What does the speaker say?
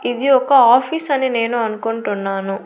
ఇది ఒక ఆఫీస్ అనే నేను అనుకుంటున్నాను.